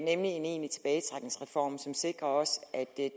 nemlig en egentlig tilbagetrækningsreform som sikrer at det